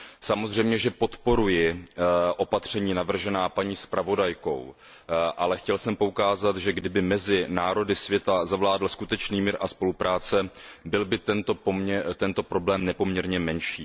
Samozřejmě, že podporuji opatření navržená paní zpravodajkou, ale chtěl jsem poukázat, že kdyby mezi národy světa zavládl skutečný mír a spolupráce, byl by tento problém nepoměrně menší.